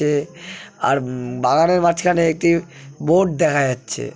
এ আর বাগানের মাঝখানে একটি বোর্ড দেখা যাচ্ছে।